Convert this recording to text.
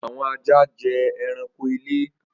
Awọn aja jẹ ẹranko ile.